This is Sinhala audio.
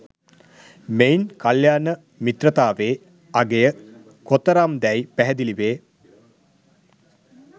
මෙයින් කල්‍යාණ මිත්‍රතාවේ අගය කොතරම්දැයි පැහැදිලි වේ.